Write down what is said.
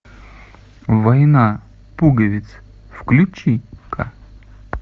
война пуговиц включи ка